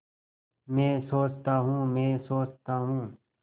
मैं सोचता हूँ मैं सोचता हूँ